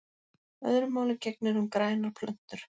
Öðru máli gegnir um grænar plöntur.